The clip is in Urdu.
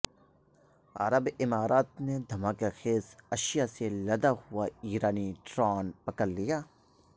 عرب امارات نے دھماکہ خیز اشیاءسے لدا ہوا ایرانی ڈرون پکڑ لیا